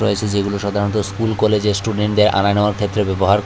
রয়েছে যেগুলো সাধারণত স্কুল কলেজের স্টুডেন্টদের আনা নেওয়ার ক্ষেত্রে ব্যবহার ক--